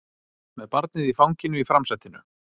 Með barnið í fanginu í framsætinu